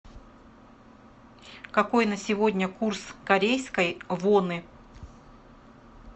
какой на сегодня курс корейской воны